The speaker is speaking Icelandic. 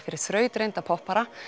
fyrir þrautreynda poppara